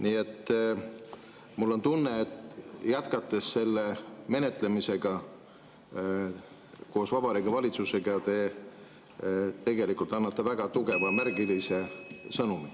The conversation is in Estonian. Nii et mul on tunne, et jätkates selle menetlemisega koos Vabariigi Valitsusega, annate te väga tugeva märgilise sõnumi.